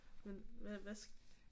Men hvad hvad skal